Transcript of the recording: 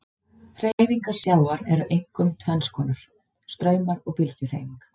Hreyfingar sjávar eru einkum tvenns konar, straumar og bylgjuhreyfing.